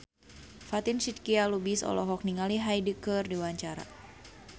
Fatin Shidqia Lubis olohok ningali Hyde keur diwawancara